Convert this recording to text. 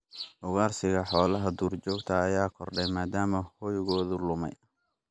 Ugaarsiga xoolaha duurjoogta ayaa kordhay maadaama hoygooda lumay.